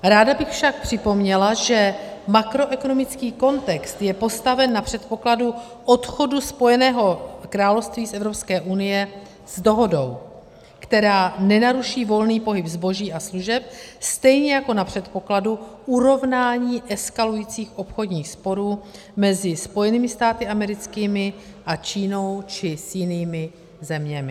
Ráda bych však připomněla, že makroekonomický kontext je postaven na předpokladu odchodu Spojeného království z Evropské unie s dohodou, která nenaruší volný pohyb zboží a služeb, stejně jako na předpokladu urovnání eskalujících obchodních sporů mezi Spojenými státy americkými a Čínou či s jinými zeměmi.